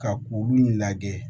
Ka kuru in lajɛ